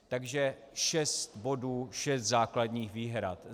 Takže šest bodů, šest základních výhrad.